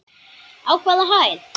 Á hvaða hæð?